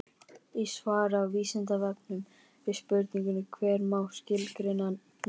Í svari á Vísindavefnum við spurningunni Hvernig má skilgreina nörd?